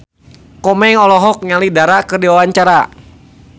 Komeng olohok ningali Dara keur diwawancara